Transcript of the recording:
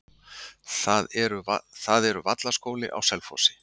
það eru vallaskóli á selfossi